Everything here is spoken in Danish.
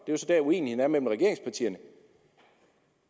det er så der uenigheden er mellem regeringspartierne